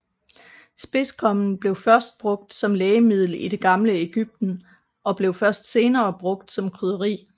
Spidskommen blev først brugt som lægemiddel i det gamle Egypten og blev først senere brugt som krydderi